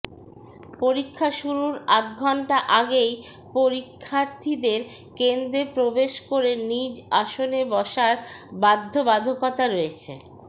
পরীক্ষা শুরুর আধঘণ্টা আগেই পরীক্ষার্থীদের কেন্দ্রে প্রবেশ করে নিজ আসনে বসার বাধ্যবাধকতা রয়েছে